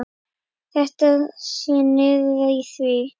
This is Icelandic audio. Þetta sé liður í því.